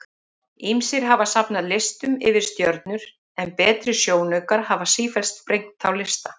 Ýmsir hafa safnað listum yfir stjörnur en betri sjónaukar hafa sífellt sprengt þá lista.